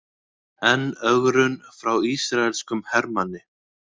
Enn ögrun frá ísraelskum hermanni